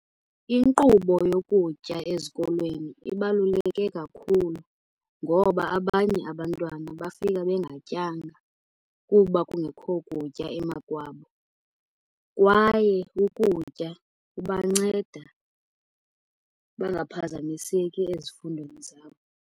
Inkqubo yokutya ezikolweni ibaluleke kakhulu, ngoba abanye abantwana bafika bengatyanga kuba kungekho kutya emakwabo. Kwaye ukutya kubanceda bangaphazamiseki ezifundweni zabo.